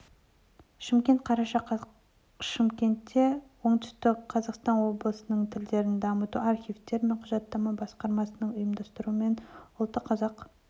шымкент қараша қаз шымкентте оңтүстік қазақстан облыстық тілдерді дамыту архивтер мен құжаттама басқармасының ұйымдастыруымен ұлты қазақ